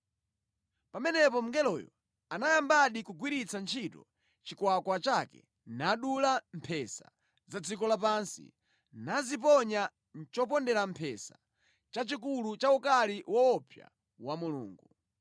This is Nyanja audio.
Pamenepo mngeloyo anayambadi kugwiritsa ntchito chikwakwa chake nadula mphesa za dziko lapansi, naziponya mʼchopondera mphesa chachikulu cha ukali woopsa wa Mulungu.